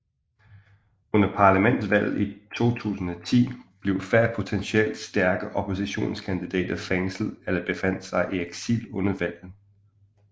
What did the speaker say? Under parlamentsvalget i 2010 blev flere potensielt stærke oppositionskandidater fængslede eller befandt sig i eksil under valget